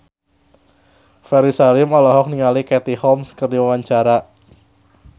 Ferry Salim olohok ningali Katie Holmes keur diwawancara